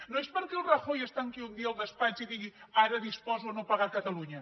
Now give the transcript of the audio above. no és perquè el rajoy es tanqui un dia al despatx i digui ara disposo no pagar a catalunya